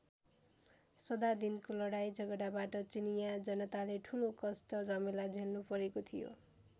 सदा दिनको लडाईँ झगडाबाट चिनियाँ जनताले ठूलो कष्ट झमेला झेल्नुपरेको थियो।